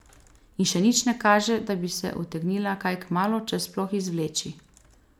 In še nič ne kaže, da bi se utegnila kaj kmalu, če sploh, izvleči.